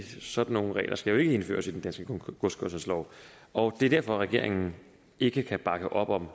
sådan nogle regler skal jo ikke indføres i den danske godskørselslov og det er derfor regeringen ikke kan bakke op om